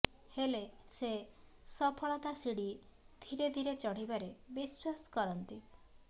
ହେଲେ ସେ ସଫଳତା ଶିଡ଼ି ଧୀରେ ଧୀରେ ଚଢ଼ିବାରେ ବିଶ୍ବାସ କରନ୍ତି